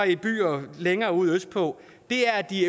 i byer længere ude østpå er at de